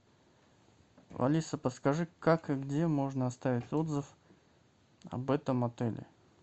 алиса подскажи как и где можно оставить отзыв об этом отеле